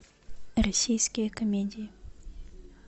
российские комедии